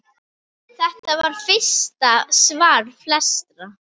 Þetta var fyrsta svar flestra?